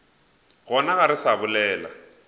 gona ga re sa bolela